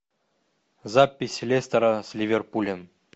запись лестера с ливерпулем